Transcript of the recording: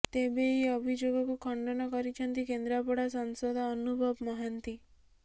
ତେବେ ଏହି ଅଭିଯୋଗକୁ ଖଣ୍ଡନ କରିଛନ୍ତି କେନ୍ଦ୍ରାପଡା ସାଂସଦ ଅନୁଭବ ମହାନ୍ତି